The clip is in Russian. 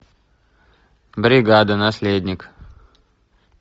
бригада наследник